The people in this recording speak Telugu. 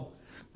వాహ్